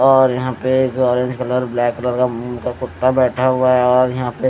और यहां पे एक ऑरेंज कलर ब्लैक कलर का मुंह का कुत्ता बैठा हुआ है और यहां पे --